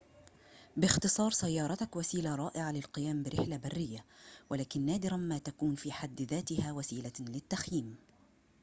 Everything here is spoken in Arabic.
باختصار سيارتك وسيلة رائعة للقيام برحلة برية ولكن نادراً ما تكون في حد ذاتها وسيلة للتخييم